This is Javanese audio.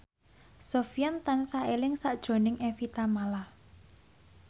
Sofyan tansah eling sakjroning Evie Tamala